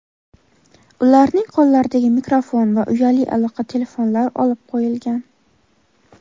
ularning qo‘llaridagi mikrofon va uyali aloqa telefonlari olib qo‘yilgan.